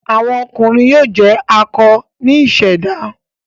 Awọn ọkunrin yoo jẹ akọ ni iseda